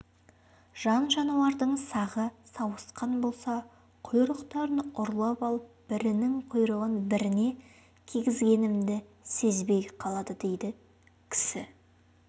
жан-жануарлардың сағы сауысқан болса құйрықтарын ұрлап алып бірінің құйрығын біріне кигізгенімді сезбей қалады дейді кісі